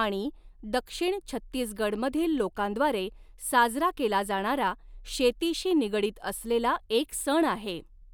आणि दक्षिण छत्तीसगडमधील लोकांद्वारे साजरा केला जाणारा शेतीशी निगडीत असलेला एक सण आहे.